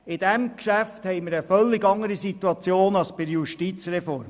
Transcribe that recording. Bei diesem Geschäft haben wir eine völlig andere Situation als bei der Justizreform.